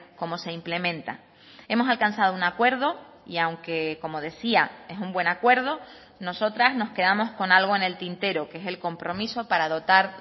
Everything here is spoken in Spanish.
cómo se implementa hemos alcanzado un acuerdo y aunque como decía es un buen acuerdo nosotras nos quedamos con algo en el tintero que es el compromiso para dotar